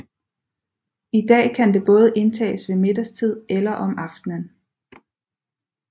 I dag kan det både indtages ved middagstid eller om aftenen